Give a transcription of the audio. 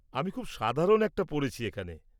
আমি খুব সাধারণ একটা পরেছি এখানে।